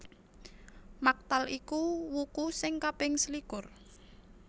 Maktal iku wuku sing kaping selikur